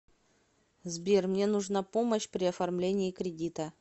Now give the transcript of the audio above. сбер мне нужна помощь при оформлении кредита